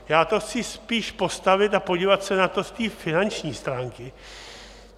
Já to chci spíš postavit a podívat se na to z té finanční stránky.